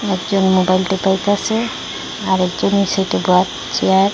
একজন মোবাইল টেপাইতাসে আরেকজন এই সাইডে চেয়ার ।